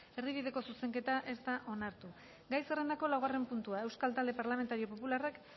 erdibideko zuzenketa ez da onartu gai zerrendako laugarren puntua euskal talde parlamentario popularrak